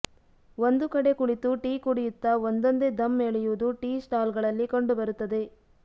ಒಂದು ಕಡೆ ಕುಳಿತು ಟೀ ಕುಡಿಯುತ್ತಾ ಒಂದೊಂದೇ ಧಮ್ ಎಳೆಯೋದು ಟೀ ಸ್ಟಾಲ್ ಗಳಲ್ಲಿ ಕಂಡು ಬರುತ್ತದೆ